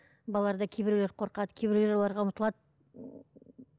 балалар да кейбірулері қорқады кейбіреулер оларға ұмтылады